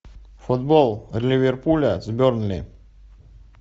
футбол ливерпуля с бернли